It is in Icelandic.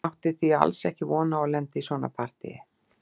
Hann átti því alls ekki von á að lenda í svona partíi.